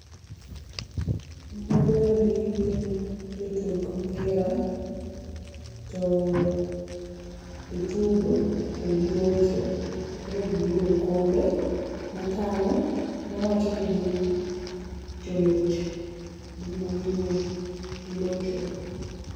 Mago endi gin jo tuk mpira, to gi tugo to gi locho koro gi yudo okombe ma tang'o, ma wacho ni gin joloch gin ema gi loyo gi locho.